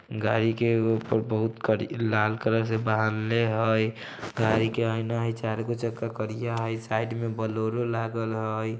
गाड़ी के ऊपर बहुत कड़ी लाल कलर से बानलेह हय । गाड़ी के आयना है चारगो चक्का करिया हय साईड में बोलेरो लागल हय।